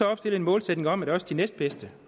at opstille en målsætning om at også de næstbedste